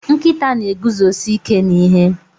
Nkịta na-eguzosi ike n'ihe